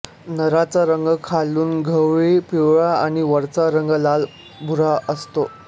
नराचा रंग खालून गव्हाळी पिवळा आणि वरचा रंग लालभुरा असतो